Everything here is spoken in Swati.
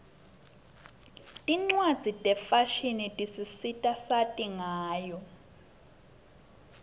tincwadzi tefashini tisisita sati ngayo